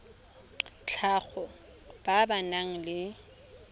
tlhago ba ba nang le